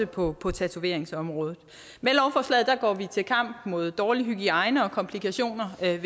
på på tatoveringsområdet med lovforslaget går vi til kamp mod dårlig hygiejne og komplikationer ved